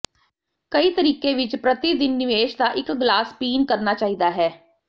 ਕਈ ਤਰੀਕੇ ਵਿਚ ਪ੍ਰਤੀ ਦਿਨ ਨਿਵੇਸ਼ ਦਾ ਇੱਕ ਗਲਾਸ ਪੀਣ ਕਰਨਾ ਚਾਹੀਦਾ ਹੈ